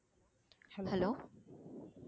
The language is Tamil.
hello